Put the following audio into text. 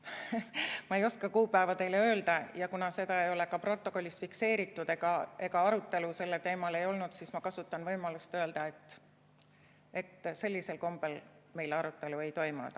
Ma ei oska kuupäeva teile öelda, ja kuna seda ei ole ka protokollis fikseeritud ega arutelu sellel teemal ei olnud, siis ma kasutan võimalust öelda, et sellisel kombel meil arutelu ei toimunud.